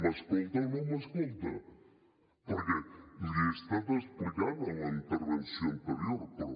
m’escolta o no m’escolta perquè l’hi he estat explicant en la intervenció anterior però